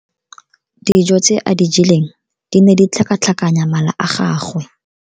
Dijo tse a di jeleng di ne di tlhakatlhakanya mala a gagwe.